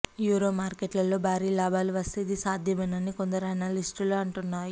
euro మార్కెట్లలో భారీ లాభాలు వస్తే ఇది సాధ్యమేనని కొందరు అనలిస్టులు అంటున్నాయి